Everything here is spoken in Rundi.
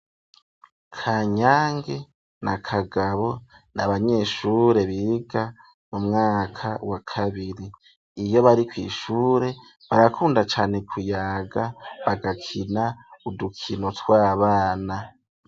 Kanyange na Kagabo n'abanyeshure biga mu mwaka wa kabiri, iyo bari kw'ishure barakunda cane kuyaga bagakina udukino tw'abana.